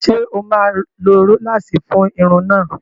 Ṣé o máa lo róláàsì fún irun náà?